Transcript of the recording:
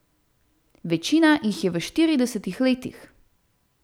Večina jih je v štiridesetih letih.